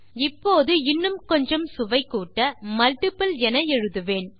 இப்போது இன்னும் கொஞ்சம் சுவை கூட்ட மல்ட்டிபிள் என எழுதுவேன்